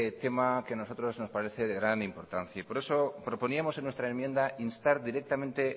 tema que a nosotros nos parece de gran importancia y por eso proponíamos en nuestra enmienda instar directamente